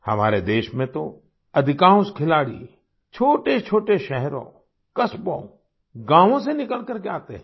हमारे देश में तो अधिकांश खिलाड़ी छोटेछोटे शहरों कस्बों गाँवों से निकल करके आते हैं